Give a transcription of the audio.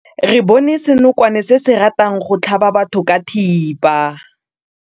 Re bone senokwane se se ratang go tlhaba batho ka thipa.